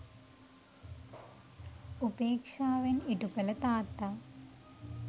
උපේක්ෂාවෙන් ඉටු කළ තාත්තා